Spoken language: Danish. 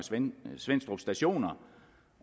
svenstrup stationer